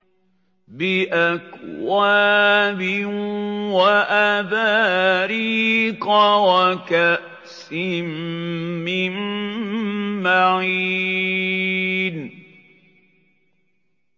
بِأَكْوَابٍ وَأَبَارِيقَ وَكَأْسٍ مِّن مَّعِينٍ